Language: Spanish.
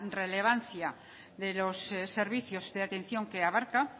relevancia de los servicios de atención que abarca